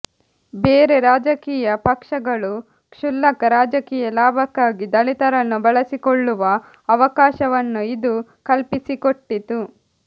ಬೇರೆ ರಾಜಕೀಯ ಪಕ್ಷಗಳು ಕ್ಷುಲ್ಲಕ ರಾಜಕೀಯ ಲಾಭಕ್ಕಾಗಿ ದಲಿತರನ್ನು ಬಳಸಿಕೊಳ್ಳುವ ಅವಕಾಶವನ್ನು ಇದು ಕಲ್ಪಿಸಿಕೊಟ್ಟಿತು